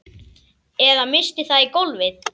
Eða missti það í gólfið.